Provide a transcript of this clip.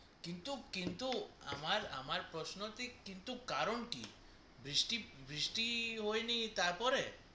কিন্তু কিন্তু আমার আমার প্রশ্ন হচ্ছে কিন্তু কারণ কি কিন্তু বৃষ্টি বৃষ্টি হয় নি তার পরে